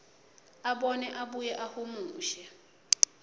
abone abuye ahumushe